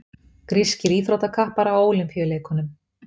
grískir íþróttakappar á ólympíuleikunum